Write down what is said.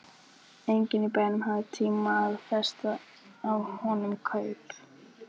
Enginn í bænum hafði tímt að festa á honum kaup.